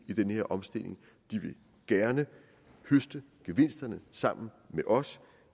i den her omstilling de vil gerne høste gevinsterne sammen med os